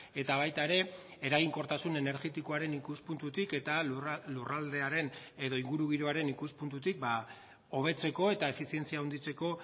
eta baita ere eraginkortasun energetikoaren ikuspuntutik eta lurraldearen edo ingurugiroaren ikuspuntutik hobetzeko eta efizientzia handitzeko